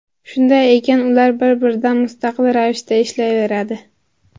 Shunday ekan, ular bir-biridan mustaqil ravishda ishlayveradi.